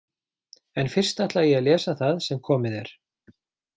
En fyrst ætla ég að lesa það sem komið er.